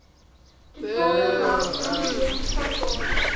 totale welstand lewensvatbaarheid